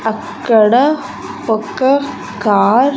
అక్కడ ఒక కార్ .